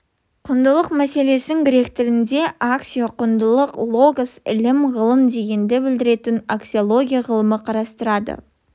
құндылық мәселесін грек тілінде аксио құндылық логос ілім ғылым дегенді білдіретін аксиология ғылымы қарастырады